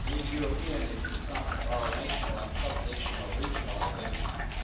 Being European is the sum of our national and subnational regional identities.